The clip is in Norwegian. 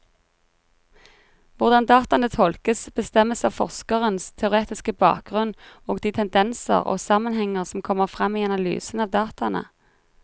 Hvordan dataene tolkes, bestemmes av forskerens teoretiske bakgrunnen og de tendenser og sammenhenger som kommer frem i analysen av dataene.